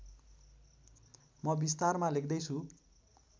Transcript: म विस्तारमा लेख्दै छु